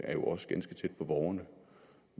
er jo også ganske tæt på borgerne